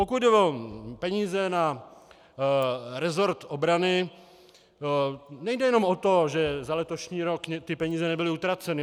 Pokud jde o peníze na rezort obrany, nejde jenom o to, že za letošní rok ty peníze nebyly utraceny.